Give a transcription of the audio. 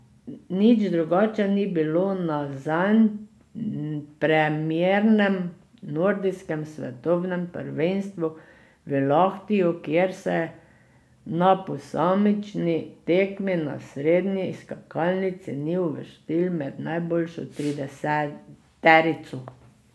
Nič drugače ni bilo na zanj premiernem nordijskem svetovnem prvenstvu v Lahtiju, kjer se na posamični tekmi na srednji skakalnici ni uvrstil med najboljšo trideseterico.